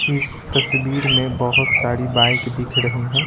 इस तस्वीर में बहुत सारी बाइक दिख रही हैं।